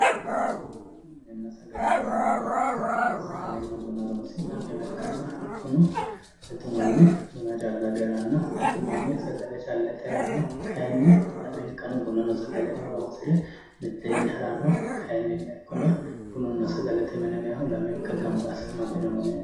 Bununna sagalete mini yinayi woyte sagalenna buna horonsi'naywa ikkanna hakkuno mittu manchi buna calla age haranno mitu manni sagale calla ite haranno kayinni lamenkano bunano sagaleno horonsire mitteenni haranno kayinnilla ikkona bununna sagalete mine yinayhu lamenka gamba assineeti